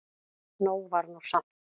Nóg var nú samt.